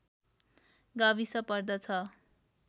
गाविस पर्दछ